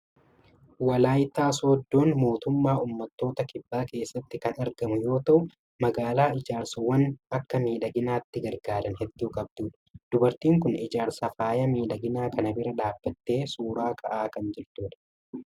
Walaayittaa Sooddoon mootummaa Uummattoota Kibbaa keessatti kan argamu yoo ta'u, Magaalaa ijaarsawwan akka miidhaginaatti gargaaran hedduu qabdudha. Dubartiin kun ijaarsa faaya miidhaginaa kana bira dhaabattee suuraa ka'aa kan jirtu dha.